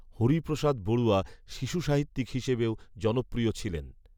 হরিপ্ৰসাদ বরুয়া শিশু সাহিত্যিক হিসেবেও জনপ্ৰিয় ছিলেন